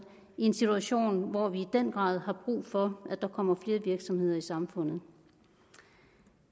i en situation hvor vi i den grad har brug for at der kommer flere virksomheder i samfundet